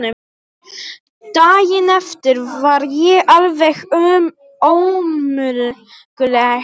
Daginn eftir var ég alveg ómöguleg.